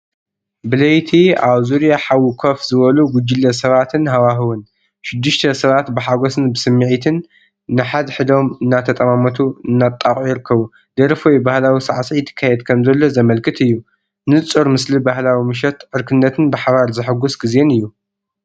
ብለይቲ ኣብ ዙርያ ሓዊ ኮፍ ዝበሉ ጉጅለ ሰባትን ሃዋህውን፦ ሽዱሽተ ሰባት ብሓጎስን ብስምዒትን ንሓድሕዶም እናተጠማመቱ እናጣቕዑ ይርከቡ። ደርፊ ወይ ባህላዊ ሳዕስዒት ይካየድ ከምዘሎ ዘመልክት እዩ። ንጹር ምስሊ ባህላዊ ምሸት፡ ዕርክነትን ብሓባር ዘሕጉስ ግዜን እዩ።